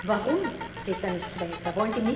Warum geht da nichts weiter?